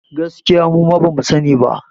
Gaskiya muma bamu sa ni ba